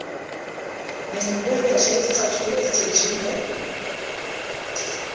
nemihwebesha yezicathulo ezicijile